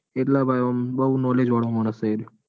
એટલે ભાઈ આમ બૌ knowledge વાળો મોણસ સ એરીયો.